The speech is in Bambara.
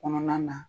Kɔnɔna na